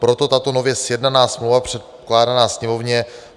Proto tato nově sjednaná smlouva předkládaná Sněmovně.